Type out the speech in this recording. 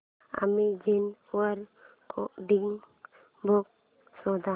Amazon वर coding books शोधा